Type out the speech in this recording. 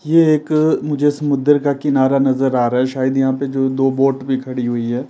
ये एक मुझे समुद्र का किनारा नजर आ रहा है शायद यहाँ पे जो दो बोट भी खड़ी हुई है।